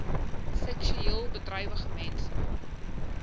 seksueel bedrywige mense